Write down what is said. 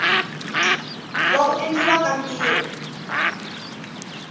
wa ku endliwa ka ntirho